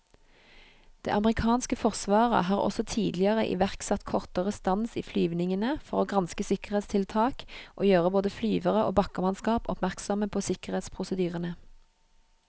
Det amerikanske forsvaret har også tidligere iverksatt kortere stans i flyvningene for å granske sikkerhetstiltak og gjøre både flyvere og bakkemannskap oppmerksomme på sikkerhetsprosedyrene.